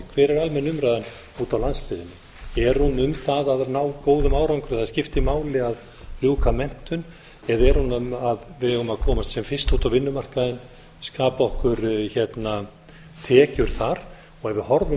hver er almenn umræða úti á landsbyggðinni er hún um það að ná góðum árangri að það skipti máli að ljúka menntun eða er hún að við eigum að komast sem fyrst út á vinnumarkaðinn skapa okkur tekjur þar ef við horfum